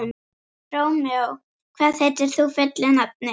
Rómeó, hvað heitir þú fullu nafni?